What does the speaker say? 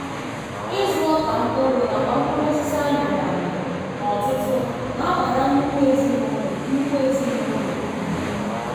ịzụ ọka mkpụrụ nakwa mkpụrụosisi amịrị amị n'ọtụtụ na-abara nnukwu ezinụlọ nnukwu ezinụlọ uru.